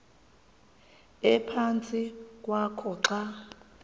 ephantsi kwakho xa